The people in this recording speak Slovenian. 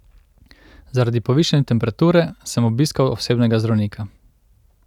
Zaradi povišane temperature sem obiskal osebnega zdravnika.